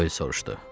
Doel soruşdu.